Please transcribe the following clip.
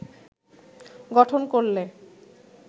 গঠন করলে